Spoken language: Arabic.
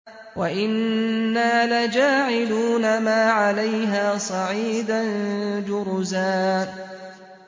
وَإِنَّا لَجَاعِلُونَ مَا عَلَيْهَا صَعِيدًا جُرُزًا